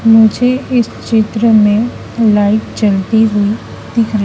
मुझे इस चित्र में लाइट चलती हुई दिख र--